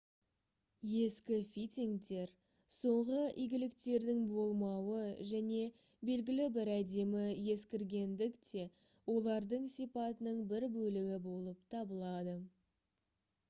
ескі фитингтер соңғы игіліктердің болмауы және белгілі бір әдемі ескіргендік те олардың сипатының бір бөлігі болып табылады